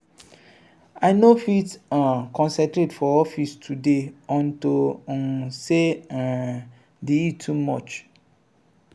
i no fit um concentrate for office today unto um say um the heat too much.